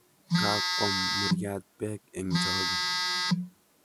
Kaakwam muryaat beek eng' choge